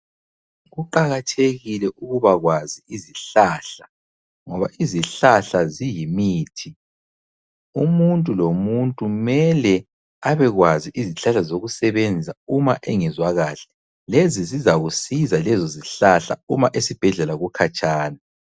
Kuqakathekile ukubakwazi izihlahla ngoba izihlahla ziyimithi. Umuntu lomuntu mele abekwazi izihlahla zokusebenza uma engezwa kahle lezi zizakusiza lezo zihlahla uma esibhedlela kukhatshana.